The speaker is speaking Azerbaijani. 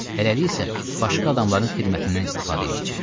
Hələlik isə başqa adamların xidmətindən istifadə eləyəcəyik.